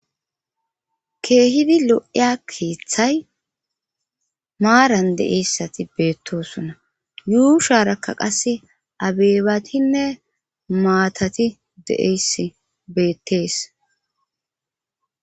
Keehidi lo'iya keeththay maaran de7eessati beettosona yuu sharakka qasse abeebatinne maatati de7eyss beettees.